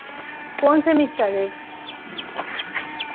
কোন সেমিস্টারের